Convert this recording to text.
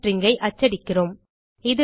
பின் string ஐ அச்சடிக்கிறோம்